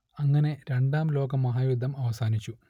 അങ്ങനെ രണ്ടാം ലോകമഹായുദ്ധം അവസാനിച്ചു